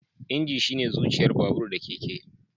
Injin shine zuciyar babur/keke